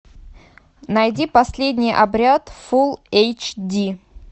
найди последний обряд фул эйч ди